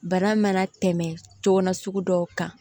Bana mana tɛmɛ cogo dɔw kan